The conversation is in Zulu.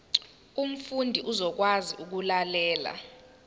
umfundi uzokwazi ukulalela